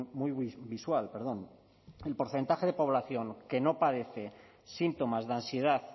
muy visual el porcentaje de población que no padece síntomas de ansiedad